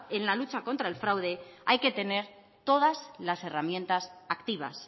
en la lucha contra el fraude hay que tener todas las herramientas activas